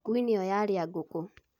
Ngui nĩyo yarĩa ngũkũ